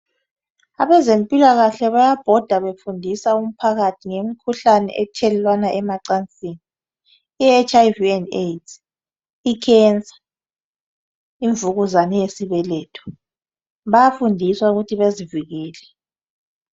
Abezempilakahle bayabhoda befundisa umphakathi ngemikhuhlane ethelelwana emacansini ihiv and AIDS ikhensa imvukuzane yesibeletho Bayafundiswa ukuthi bezivikele